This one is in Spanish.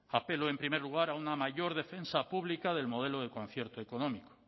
apelo en primer lugar a una mayor defensa pública del modelo de concierto económico